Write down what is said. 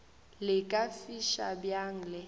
le ka fiša bjang le